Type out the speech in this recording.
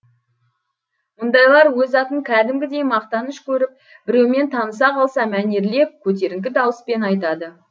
мұндайлар өз атын кәдімгідей мақтаныш көріп біреумен таныса қалса мәнерлеп көтеріңкі дауыспен айтады